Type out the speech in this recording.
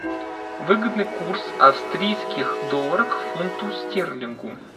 выгодный курс австрийских долларов к фунту стерлингу